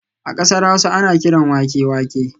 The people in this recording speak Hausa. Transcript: A kasar Hausa ana kiran wake wake